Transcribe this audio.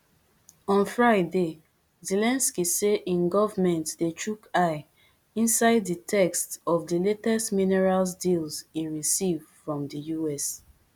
on friday zelensky say im government dey chook eye inside di text of di latest minerals deal e receive from the us